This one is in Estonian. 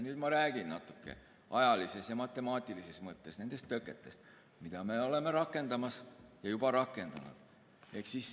Nüüd ma räägin natuke ajalises ja matemaatilises mõttes nendest tõketest, mida me oleme rakendamas ja juba rakendanud.